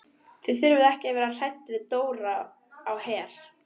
Þið þurfið ekki að vera hrædd við Dóra á Her.